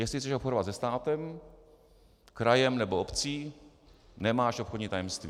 Jestli chceš obchodovat se státem, krajem nebo obcí, nemáš obchodní tajemství.